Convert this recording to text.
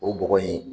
O bɔgɔ in